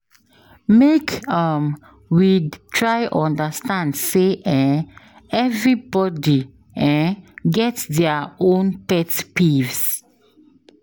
Make um we try understand sey um everybodi um get their own pet peeves